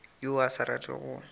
yo a sa ratego go